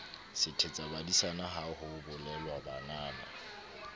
sethetsabadisana ha ho bolelwa banana